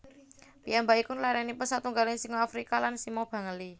Piyambakipun larénipun satunggaling singa Afrika lan sima Bengali